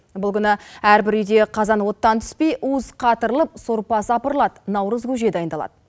бұл күні әрбір үйде қазан оттан түспей уыз қатырылып сорпа сапырылады наурыз көже дайындалады